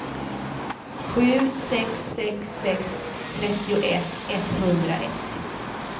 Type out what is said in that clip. sju sex sex sex trettioett etthundraett